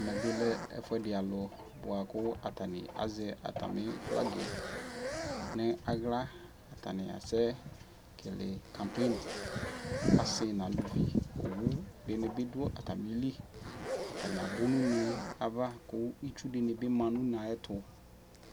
Ɛmɛ bi lɛ ɛfuɛdi alʋ boa kʋ atani azɛ atami flagi nʋ aɣla Atani asɛkele kampeni, asi nʋ alʋvi Owu di ni bi dʋ atami li Atani abʋ nʋ une yɛ ava kʋ itsu di ni bi ma nʋ une yɛ ayɛtʋ